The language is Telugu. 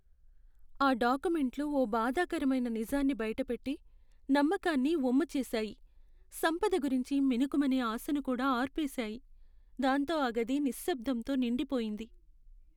ఆ డాక్యుమెంట్లు ఓ బాధాకరమైన నిజాన్ని బయటపెట్టి, నమ్మకాన్ని వమ్ముచేసాయి. సంపద గురించి మిణుకుమనే ఆశను కూడా అర్పేశాయి. దాంతో ఆ గది నిశ్శబ్దంతో నిండిపోయింది.